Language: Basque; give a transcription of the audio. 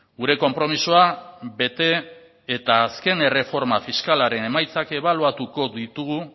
gure konpromisoa bete eta azken erreforma fiskalaren emaitzak ebaluatuko ditugu